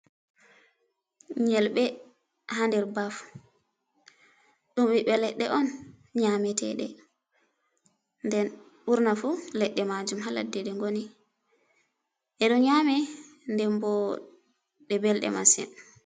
Nyelɓe haa nder baf, ɗum ɓiɓbe leɗɗe on nyaameteɗe. Nden ɓurna fu leɗɗe majum haa ladde ɗe ngoni. Ɗe ɗon nyame, nden bo ɗe belɗe masin.